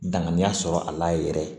Danganiya sɔrɔ a la yɛrɛ